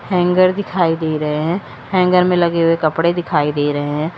Hanger दिखाई दे रहे हैं हैंगर में लगे हुए कपड़े दिखाई दे रहे हैं।